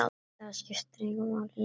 Það skipti engu máli lengur.